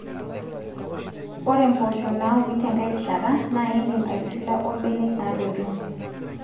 Ore mpoosho naauni tenkai rishata naa indim aitushula ombenek naatoito